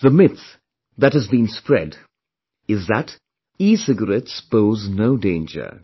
The myth that has been spread is that ecigarettes pose no danger